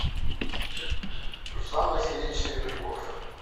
руслан васильевич серебряков